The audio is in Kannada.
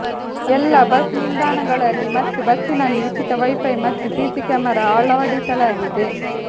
ಎಲ್ಲ ಬಸ್ ನಿಲ್ದಾಣಗಳಲ್ಲಿ ಮತ್ತು ಬಸ್ಸಿನಲ್ಲಿ ಉಚಿತ ವೈಫೈ ಮತ್ತು ಸಿಸಿ ಕ್ಯಾಮೆರಾ ಅಳವಡಿಸಲಾಗಿದೆ